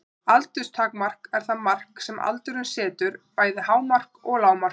Aldurstakmark er það mark sem aldurinn setur, bæði hámark og lágmark.